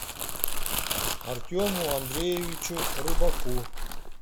артему андреевичу рыбаку